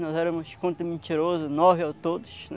Nós éramos, conto mentirosos, nove a todos, né?